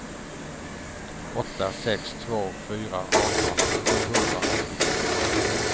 åtta sex två fyra arton sjuhundraåttiofyra